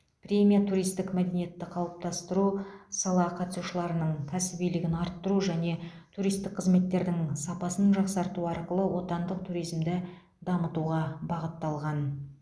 премия туристік мәдениетті қалыптастыру сала қатысушыларының кәсібилігін арттыру және туристік қызметтердің сапасын жақсарту арқылы отандық туризмді дамытуға бағытталған